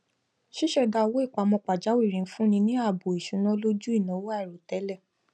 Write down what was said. ṣíṣèdá owó ìpamọ pajawìrì ń fúnni ní ààbò ìṣúná lójú ìnawo àìròtẹlẹ